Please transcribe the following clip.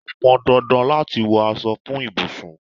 Ó pọn dandan láti wọ aṣọ fún ibùsùn.